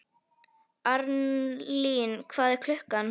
Arnlín, hvað er klukkan?